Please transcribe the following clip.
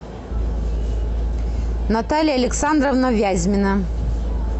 наталья александровна вязьмина